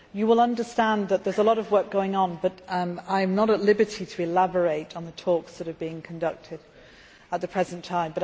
You will understand that there is a lot of work going on, but I am not at liberty to elaborate on the talks that are being conducted at the present time.